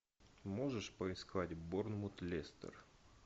можешь поискать борнмут лестер